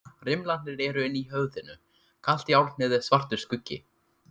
Rimlarnir eru inni í höfðinu, kalt járnið er svartur skuggi.